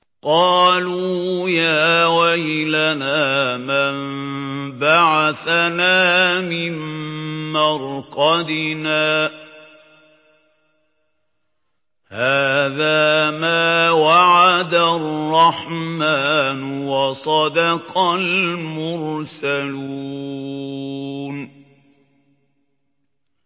قَالُوا يَا وَيْلَنَا مَن بَعَثَنَا مِن مَّرْقَدِنَا ۜۗ هَٰذَا مَا وَعَدَ الرَّحْمَٰنُ وَصَدَقَ الْمُرْسَلُونَ